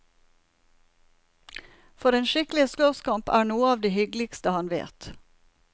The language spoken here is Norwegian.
For en skikkelig slåsskamp er noe av det hyggeligste han vet.